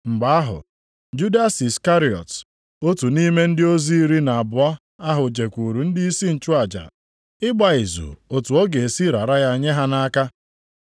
Mgbe ahụ Judas Iskarịọt, otu nʼime ndị ozi iri na abụọ ahụ jekwuuru ndịisi nchụaja ịgba izu otu ọ ga-esi rara ya nye ha nʼaka.